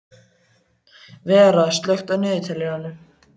Vera, slökktu á niðurteljaranum.